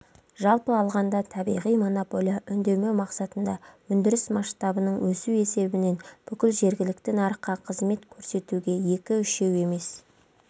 жалпы алғанда табиғи монополия үнемдеу мақсатында өндіріс масштабының өсу есебінен бүкіл жеhгіәлікті нарыққа қызмет көрсетуге екі-үшеу емес